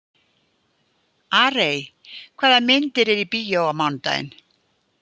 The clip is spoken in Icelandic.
Arey, hvaða myndir eru í bíó á mánudaginn?